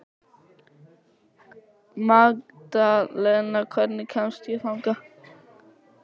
Magdalena, hvernig kemst ég þangað?